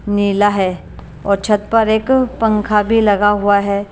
मेला है और छत पर एक पंखा भी लगा हुआ है।